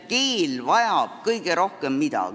Mida vajab keel kõige rohkem?